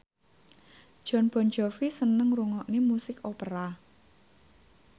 Jon Bon Jovi seneng ngrungokne musik opera